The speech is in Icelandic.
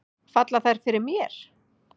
Falla þær fyrir mér?